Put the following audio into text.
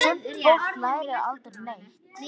Sumt fólk lærir aldrei neitt.